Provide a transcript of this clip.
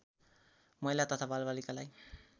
महिला तथा बालबालिकालाई